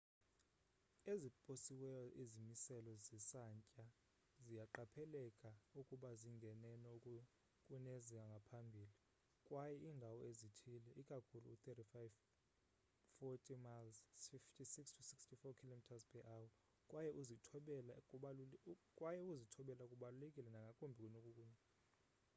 eziposiweyo izimiselo zesantya ziyaqapheleka ukuba zingeneno kunezangaphambili kwaye iindawana ezithile— ikakhulu u-35-40 mph 56-64 km/h — kwaye ukuzithobela kubaluleke nangakumbi kunokunye